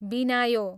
बिनायो